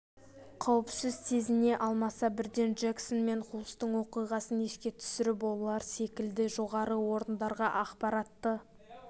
қауіпсіз сезіне алмаса бірден джексон мен хулстың оқиғасын еске түсіріп солар секілді жоғары орындарға ақпаратты